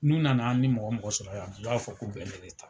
N'u nana ni mɔgɔ mɔgɔ sɔrɔ yan u b'a fɔ k'u bɛ ne de ta.